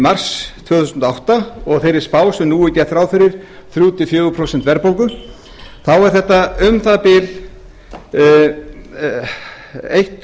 mars tvö þúsund og átta og þeirri spá sem nú er gert ráð fyrir þremur til fjögur prósent verðbólgu þá er þetta um það bil einn